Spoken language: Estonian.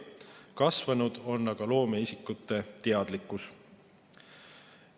Kasvanud on aga loomeisikute teadlikkus.